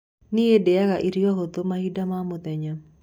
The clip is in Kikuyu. Nĩi ndĩaga irio hũthũ mahinda ma mũthenya.